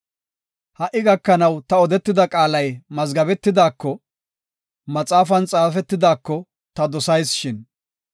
“Ha77i gakanaw ta odetida qaalay mazgabetidaako, maxaafan xaafetidaako ta dosayis shin.